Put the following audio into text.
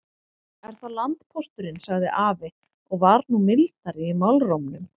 Er það landpósturinn, sagði afi og var nú mildari í málrómnum.